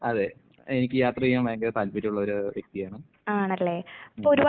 അതെ എനിക്ക് യാത്ര ചെയ്യാൻ ഭയങ്കര താല്പര്യമുള്ളൊരു വ്യക്തിയാണ്. ഉം.